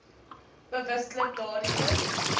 bewustelik daardie een